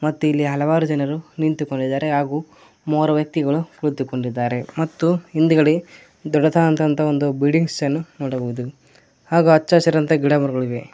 ಮತ್ತೆ ಇಲ್ಲಿ ಹಲವಾರು ಜನರು ನಿಂತುಕೊಂಡಿದ್ದಾರೆ ಹಾಗು ಮೂರು ವ್ಯಕ್ತಿಗಳು ಕುಳಿತುಕೊಂಡಿದ್ದಾರೆ ಮತ್ತು ಹಿಂದಗಡೆ ದೊಡ್ಡದಾದಂತ ಅಂತಹ ಒಂದು ಬಿಲ್ಡಿಂಗ್ಸ್ ಅನ್ನು ನೋಡಬಹುದು ಹಾಗು ಹಚ್ಚ ಹಸಿರಾದಂತ ಗಿಡ ಮರಗಳು ಇವೆ.